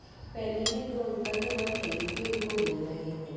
पहनी है जो अंकल ने वो थैरिपी उनको दे रहे हैं ।